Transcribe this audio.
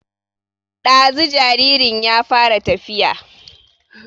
Ɗazu jaririn ya fara tafiya